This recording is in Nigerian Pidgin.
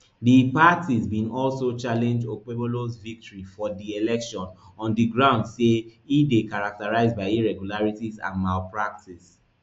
di parties bin also challenge okpebholo victory for di election on di grounds say e dey characterised by irregularities and malpractice